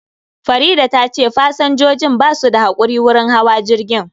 Faridah tace pasanjojin basu da hakuri wurin hawa jirgin